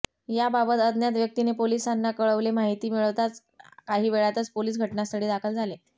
या बाबत अज्ञात व्यक्तीने पोलीसांना कळवले माहिती मिळताच काही वेळातच पोलीस घटनास्थळी दाखल झाले